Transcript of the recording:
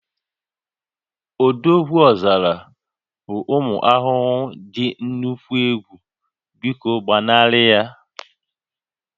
Odogwuọzara bụ ụmụ ahụhụ dị nnukwu egwu, biko gbanarị ha